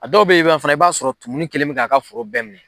A dɔw bɛ'i ban fana i b'a sɔrɔ tumuni kelen bɛ k'a ka foro bɛɛ minɛ.